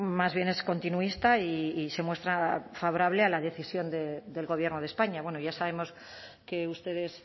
más bien es continuista y se muestra favorable a la decisión del gobierno de españa bueno ya sabemos que ustedes